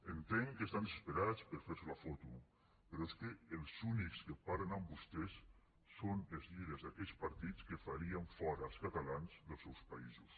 entenc que estan desesperats per fer se la foto però és que els únics que parlen amb vostès són els líders d’aquells partits que farien fora els catalans dels seus països